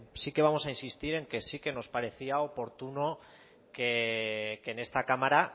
sí que vamos a insistir en que sí que nos parecía oportuno que en esta cámara